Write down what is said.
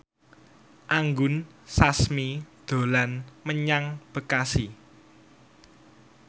Anggun Sasmi dolan menyang Bekasi